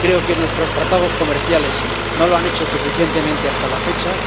creo que nuestros tratados comerciales no lo han hecho suficientemente hasta la fecha.